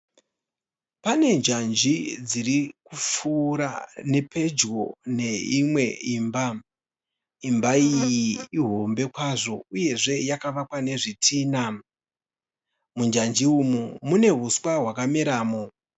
Pane njanji dziri kupfuura nepedyo neimwe imba. Imba iyi ihombe kwazvo uyezve yakavakwa nezvitinha. Munjanji umu mune huswa hwakameramo.